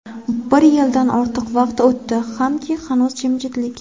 Bir yildan ortiq vaqt o‘tdi hamki, hanuz jimjitlik.